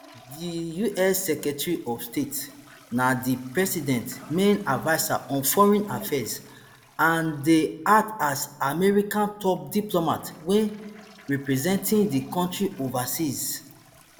di us secretary of state na di president main adviser on foreign affairs and dey act as america top diplomat wen representing di country overseas